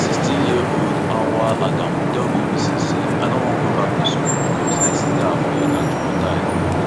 sixteenyearold auwal adamu tell bbc say i no wan go back to school becos i still dey afraid and traumatised